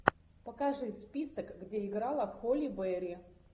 покажи список где играла холли берри